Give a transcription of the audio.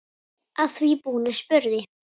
Að því búnu spurði